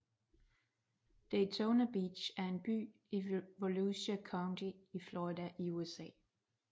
Daytona Beach er en by i Volusia County i Florida i USA